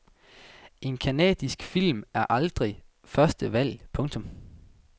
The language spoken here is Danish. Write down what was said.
En canadisk film er aldrig første valg. punktum